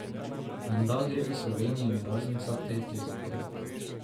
Menda gre v Sloveniji narazen vsak tretji zakon.